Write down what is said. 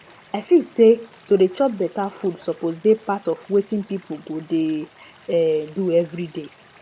i feel say to dey chop better food suppose dey part of wetin people go dey um do every day